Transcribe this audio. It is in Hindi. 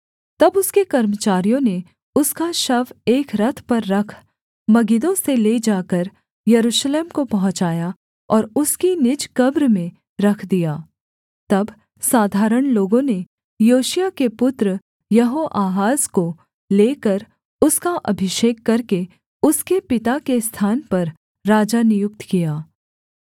तब उसके कर्मचारियों ने उसका शव एक रथ पर रख मगिद्दो से ले जाकर यरूशलेम को पहुँचाया और उसकी निज कब्र में रख दिया तब साधारण लोगों ने योशिय्याह के पुत्र यहोआहाज को लेकर उसका अभिषेक करके उसके पिता के स्थान पर राजा नियुक्त किया